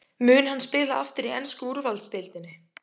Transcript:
Mun hann spila aftur í ensku úrvalsdeildinni?